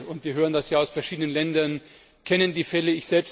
Alle und wir hören das ja aus verschiedenen Ländern kennen die Fälle.